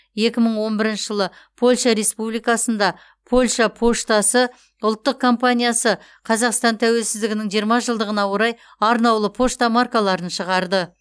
екі мың он бірінші жылы польша республикасында польша поштасы ұлттық компаниясы қазақстан тәуелсіздігінің жиырма жылдығына орай арнаулы пошта маркаларын шығарды